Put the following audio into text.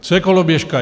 Co je koloběžka?